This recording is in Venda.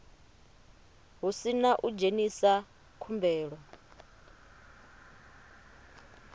hu sina u dzhenisa khumbelo